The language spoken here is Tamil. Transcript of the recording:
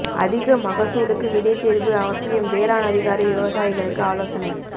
அதிக மகசூலுக்கு விதை தேர்வு அவசியம் வேளாண் அதிகாரி விவசாயிகளுக்கு ஆலோசனை